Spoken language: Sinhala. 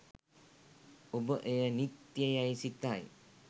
ඔබ එය නිත්‍ය යැයි සිතයි.